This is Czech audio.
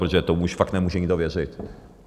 Protože tomu už fakt nemůže nikdo věřit.